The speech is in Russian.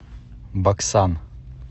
баксан